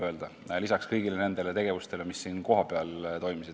Seda lisaks kogu sellele tegevusele, mis siin kohapeal toimus.